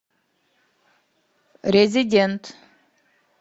резидент